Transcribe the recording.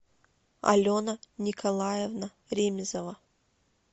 алена николаевна ремизова